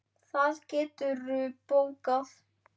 Það geturðu bókað.